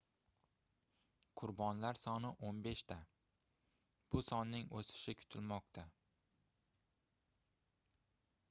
qurbonlar soni 15 ta bu sonning oʻsishi kutilmoqda